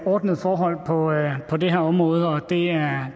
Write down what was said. ordnede forhold forhold på det her område og det er